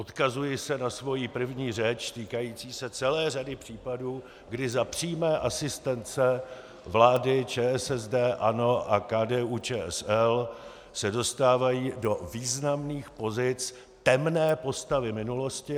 Odkazuji se na svoji první řeč týkající se celé řady případů, kdy za přímé asistence vlády ČSSD, ANO a KDU-ČSL se dostávají do významných pozic temné postavy minulosti.